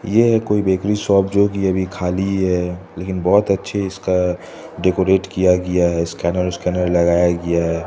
ये है कोई बेकरी शॉप जो कि अभी खाली है लेकिन बहोत अच्छी इसका डेकोरेट किया गया है स्कैनर उसकेनर लगाया गया है।